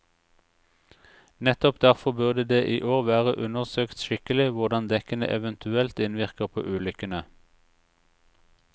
Nettopp derfor burde det i år vært undersøkt skikkelig hvordan dekkene eventuelt innvirker på ulykkene.